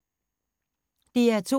DR2